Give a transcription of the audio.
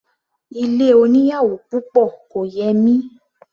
Ilé oníyàwò púpọ̀ kò yẹ mí.